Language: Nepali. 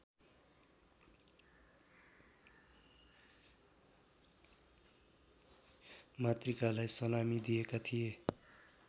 मातृकालाई सलामी दिएका थिए